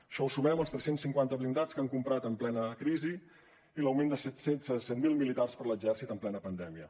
això ho sumem als tres cents i cinquanta blindats que han comprat en plena crisi i l’augment de set mil militars per a l’exèrcit en plena pandèmia